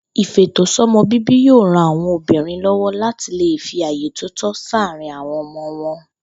Ìfètòsó̩mo̩-bíbí yóò ran àwo̩n obìnrin ló̩wó̩ láti lè fi àyè tó tó sáàárín àwo̩n o̩mo̩ wo̩n